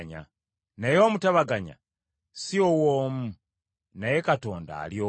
Naye omutabaganya si w’omu, naye Katonda ali omu.